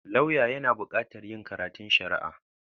Lauya yana buƙatar yin karatun Shari'a.